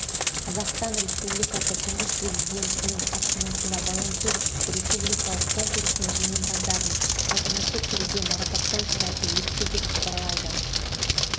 қазақстан республикасы тұңғыш президентінің кітапханасында волонтер республикалық конкурсының жеңімпаздарын салтанатты түрде марапаттау шарасы өтті деп хабарлайды